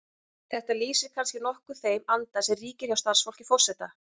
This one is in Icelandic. Þetta lýsir kannski nokkuð þeim anda sem ríkir hjá starfsfólki forseta.